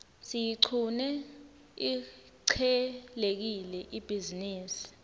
siyiqune ihcelekile ibhizinisi